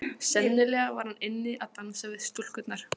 Sennilega var hann inni að dansa við stúlkurnar.